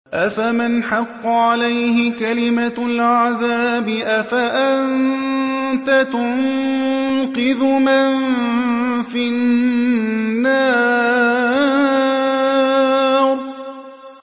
أَفَمَنْ حَقَّ عَلَيْهِ كَلِمَةُ الْعَذَابِ أَفَأَنتَ تُنقِذُ مَن فِي النَّارِ